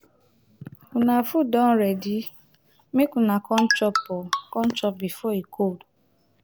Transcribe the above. una food don ready make una come chop oo come chop before e cold